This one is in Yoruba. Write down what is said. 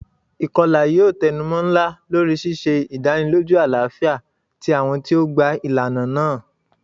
Ikọla yoo tẹnumọ nla lori ṣiṣe idaniloju alafia ti awọn ti o gba ilana naa.